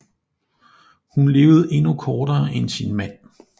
Hun levede endnu kortere end sin mand